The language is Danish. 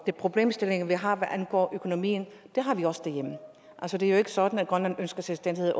problemstilling vi har hvad angår økonomien har vi også derhjemme det er jo ikke sådan at grønland ønsker selvstændighed